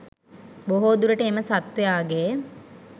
බොහෝ දුරට එම සත්වයාගේ